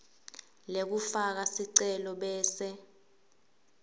lekufaka sicelo bese